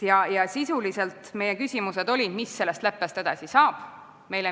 Ja meie küsimused olid selle kohta, mis sellest leppest edasi saab.